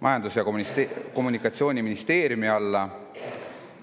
Majandus‑ ja Kommunikatsiooniministeeriumi alla.